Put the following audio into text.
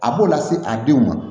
A b'o lase a denw ma